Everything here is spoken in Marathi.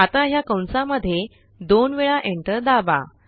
आता ह्या कंसांमध्ये दोन वेळा एंटर दाबा